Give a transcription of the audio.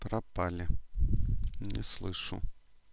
пропали не слышу